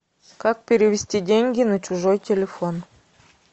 как перевести деньги на чужой телефон